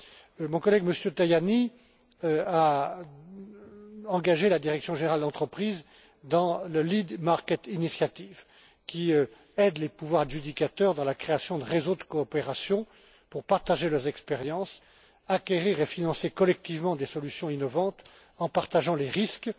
De son côté, mon collègue, M. Tajani, a engagé la direction générale Entreprises dans la Lead Market Initiative, qui aide les pouvoirs adjudicateurs dans la création de réseaux de coopération pour partager leurs expériences, acquérir et financer collectivement des solutions innovantes en partageant les risques.